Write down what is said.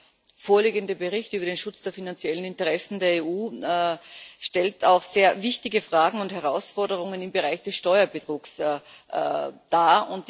Der vorliegende Bericht über den Schutz der finanziellen Interessen der EU stellt auch sehr wichtige Fragen und Herausforderungen im Bereich des Steuerbetrugs dar.